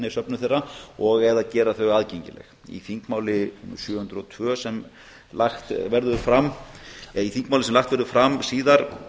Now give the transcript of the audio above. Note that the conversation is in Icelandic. í söfnum þeirra og eða gera þau aðgengileg í þingmáli númer sjö hundruð og tvö sem lagt verður fram eða í þingmáli sem lagt verður fram síðar